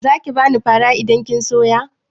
Zaki bani fara idan kin soya?